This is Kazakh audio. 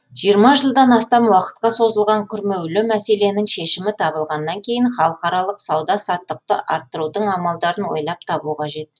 жиырма жылдан астам уақытқа созылған күрмеулі мәселенің шешімі табылғаннан кейін халықаралық сауда саттықты арттырудың амалдарын ойлап табу қажет